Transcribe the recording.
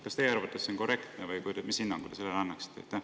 Kas teie arvates on see korrektne või mis hinnangu te sellele annaksite?